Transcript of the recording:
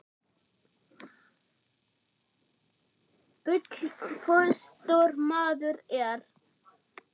Bulla fótstór maður er.